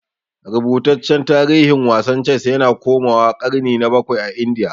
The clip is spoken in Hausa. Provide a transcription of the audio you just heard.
Rubutaccen tarihin wasan Ces yana komawa ƙarni na bakwai a Indiya.